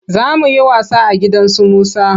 Za mu yi wasa a gidan su Musa.